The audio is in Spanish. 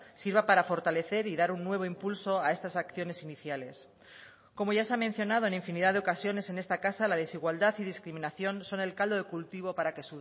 sirva para fortalecer y dar un nuevo impulso a estas acciones iniciales como ya se ha mencionado en infinidad de ocasiones en esta casa la desigualdad y discriminación son el caldo de cultivo para que